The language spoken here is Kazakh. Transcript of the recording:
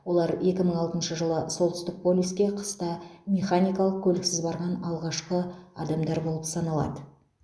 олар екі мың алтыншы жылы солтүстік полюске қыста механикалық көліксіз барған алғашқы адамдар болып саналады